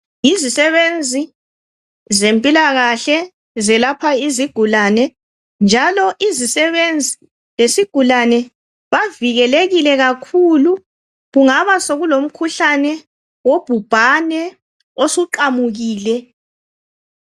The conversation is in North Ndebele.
Yizisebenzi zempilakahle zelapha izigulane, njalo izisebenzi lesigulane bavikelekile kakhulu. Kungaba sokulomkhuhlane wobhubhane osuqamukile.